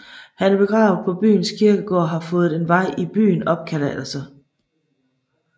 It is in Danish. Han er begravet på byens kirkegård og har fået en vej i byen opkaldt efter sig